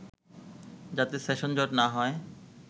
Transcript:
যাতে সেশন জট না হয়”